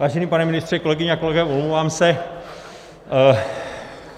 Vážený pane ministře, kolegyně a kolegové, omlouvám se.